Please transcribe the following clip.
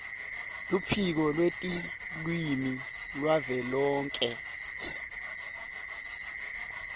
luphiko lwetilwimi lwavelonkhe